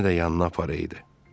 Məni də yanına aparaydı.